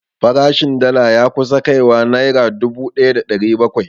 Farashin dala ya kusa kai wa naira dubu ɗaya da ɗari bakwai